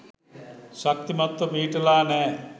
ශක්තිමත්ව පිහිටලා නෑ.